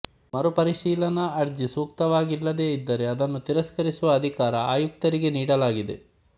ಮರುಪರಿಶೀಲನಾ ಅರ್ಜಿ ಸೂಕ್ತವಾಗಿಲ್ಲದೇ ಇದ್ದರೆ ಅದನ್ನು ತಿರಸ್ಕರಿಸುವ ಅಧಿಕಾರ ಆಯುಕ್ತರಿಗೆ ನೀಡಲಾಗಿದೆ